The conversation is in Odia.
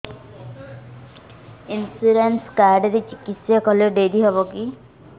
ଇନ୍ସୁରାନ୍ସ କାର୍ଡ ରେ ଚିକିତ୍ସା କଲେ ଡେରି ହବକି